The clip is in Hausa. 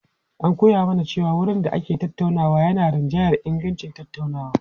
An koya mana cewa wurin da ake tattaunawa yana rinjayar ingancin tattaunawa.